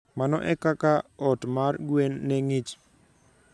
Mano e kaka ot mar gwen ne ng'ich.